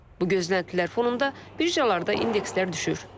Bu gözləntilər fonunda birjalarda indekslər düşür.